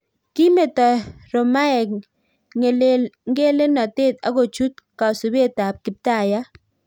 Kimetoo romaek ngelelnotet akochuut kasupeet ap kiptaiyat